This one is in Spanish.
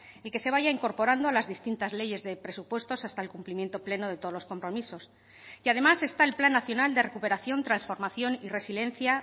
y que se vaya incorporando a las distintas leyes de presupuestos hasta el cumplimiento pleno de todos los compromisos y además está el plan nacional de recuperación transformación y resiliencia